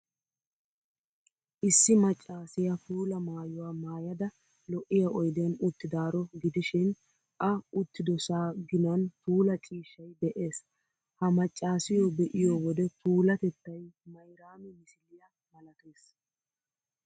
Issi maccaasiyaa puula maayuwaa maayada, lo'iyaa oydiyan uttidaaro gidishin, A uttidosa ginan puula ciishshay de'ees. Ha maccaasiyoo be'iyo wode puulatettay Mayraami misiliyaa malatees.